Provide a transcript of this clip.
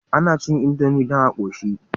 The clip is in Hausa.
Ana cin indomie dan a koshi